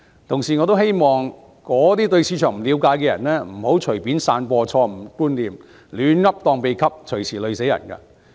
同時，我也希望對市場不了解的人不要隨便散播錯誤觀念、胡言亂語，隨時連累他人。